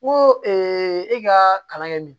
Ko e ka kalan kɛ nin